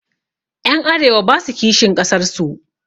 Ƴan arewa basa kishin ƙasar su